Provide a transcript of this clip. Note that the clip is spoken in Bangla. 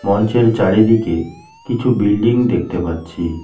মঞ্চের চারিদিকে কিছু বিল্ডিং দেখতে পাচ্ছি।